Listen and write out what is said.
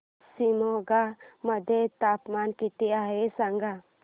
आज शिमोगा मध्ये तापमान किती आहे सांगा